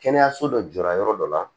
Kɛnɛyaso dɔ jɔra yɔrɔ dɔ la